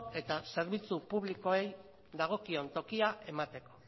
eta zerbitzu publikoei dagokion tokia emateko